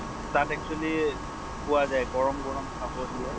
তাত actually পোৱা যায়, গৰম গৰম খাব দিয়ে।